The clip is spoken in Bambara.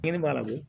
Kɛnɛ b'a la wo